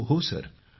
होहो sir